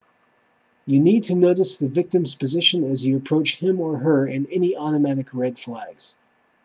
you need to notice the victim's position as you approach him or her and any automatic red flags